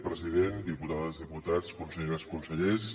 president diputades diputats conselleres consellers